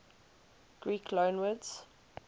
greek loanwords